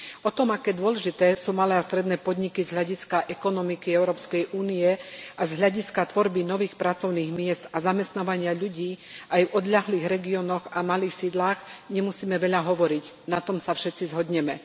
O tom, aké dôležité sú malé a stredné podniky z hľadiska ekonomiky Európskej únie a z hľadiska tvorby nových pracovných miest a zamestnávania ľudí aj v odľahlých regiónoch a malých sídlach, nemusíme veľa hovoriť, na tom sa všetci zhodneme.